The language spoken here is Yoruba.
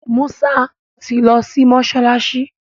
Musa ti ló sí mọsalasi.